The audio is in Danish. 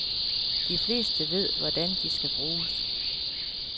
De fleste ved, hvordan de skal bruges.